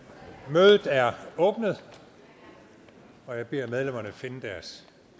mødet er åbnet og jeg beder medlemmerne finde deres